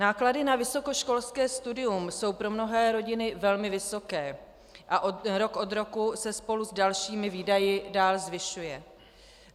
Náklady na vysokoškolské studium jsou pro mnohé rodiny velmi vysoké a rok od roku se spolu s dalšími výdaji dál zvyšují.